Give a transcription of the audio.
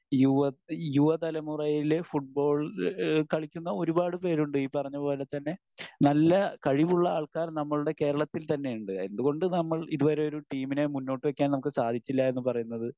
യുവ യുവതലമുറയിലെ ഫുട്ബോൾ ഈഹ് കളിക്കുന്ന ഒരുപാട് പേരുണ്ട്. ഈ പറഞ്ഞ പോലെ തന്നെ നല്ല കഴിവുള്ള ആൾക്കാർ നമ്മളുടെ കേരളത്തിൽ തന്നെ ഉണ്ട്. എന്തുകൊണ്ട് നമ്മൾ ഇതുവരെ ഒരു ടീമിനെ മുന്നോട്ട് വെക്കാൻ നമുക്ക് സാധിച്ചില്ല എന്ന് പറയുന്നത്